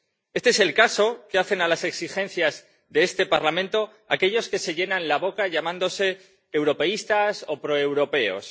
Este es el caso que hacen a las exigencias de este Parlamento aquellos que se llenan la boca llamándose europeístas o proeuropeos.